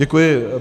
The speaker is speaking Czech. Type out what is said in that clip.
Děkuji.